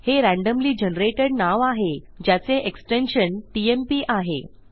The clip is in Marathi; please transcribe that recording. हे रॅन्डमली जनरेटेड नाव आहे ज्याचे एक्सटेन्शन टीएमपी आहे